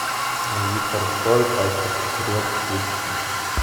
виктор цой пачка сигарет включи